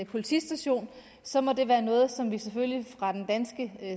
politistation så må det være noget som vi selvfølgelig fra den danske